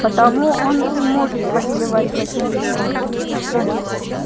потому он и может повелевать василиском